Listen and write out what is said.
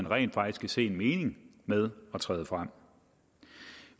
rent faktisk kan se en mening med at træde frem